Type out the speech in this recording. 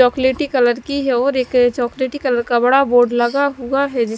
चोकलेटी कलर की है और एक चोकलेटी कलर का बड़ा बोर्ड लगा हुआ है जिस--